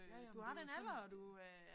Ja ja men det jo sådan